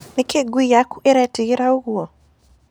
Nĩkĩ ngui yakũ ĩretigĩra ũgũo?